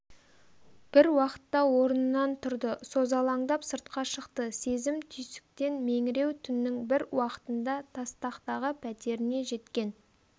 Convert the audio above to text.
бір уақытта орнынан тұрды созалаңдап сыртқа шықты сезім түйсіктен меңіреу түннің бір уақытында тастақтағы пәтеріне жеткен